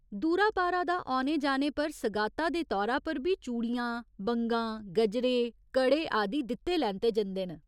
दूरा पारा दा औने जाने पर सगाता दे तौरा पर बी चूड़ियां, बंगां, गजरे, कड़े आदि दित्ते लैते जंदे न।